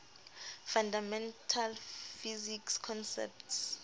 fundamental physics concepts